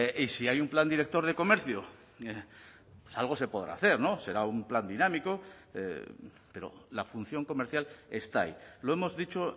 y si hay un plan director de comercio algo se podrá hacer será un plan dinámico pero la función comercial está ahí lo hemos dicho